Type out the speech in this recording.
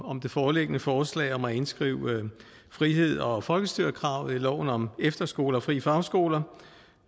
det foreliggende forslag om at indskrive frihed og folkestyre kravet i loven om efterskoler og frie fagskoler